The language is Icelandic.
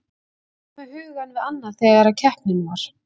Ég var með hugann við annað þegar að keppnin var.